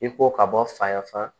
I ko ka bɔ faya fana